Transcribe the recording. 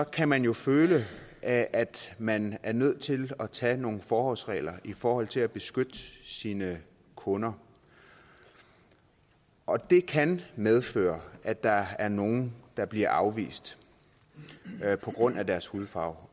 kan man jo føle at at man er nødt til at tage nogle forholdsregler i forhold til at beskytte sine kunder og det kan medføre at der er nogle der bliver afvist på grund af deres hudfarve